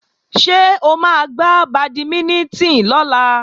Ṣé o máa gbá bàdímínítìn lọ́la?